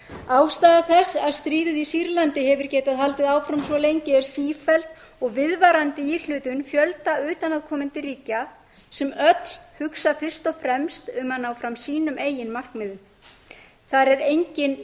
ástæða þess að stríðið í sýrlandi hefur getað haldið áfram svo lengi er sífelld og viðvarandi íhlutun fjölda utanaðkomandi ríkja sem öll hugsa fyrst og fremst um að ná fram sínum eigin markmiðum þar er enginn